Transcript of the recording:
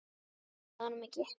Ég svaraði honum ekki.